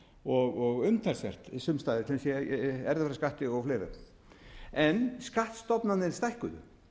og umtalsvert sums staðar sem sé í erfðafjárskatti og fleiri en skattstofnarnir stækkuðu